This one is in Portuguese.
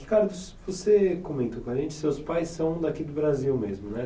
Ricardo, você comentou com a gente, seus pais são daqui do Brasil mesmo, né?